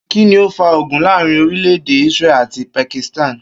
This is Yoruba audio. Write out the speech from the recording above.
Kí ni ó fa ogun láàárín orílè̩-èdè Israel àti Pakistan?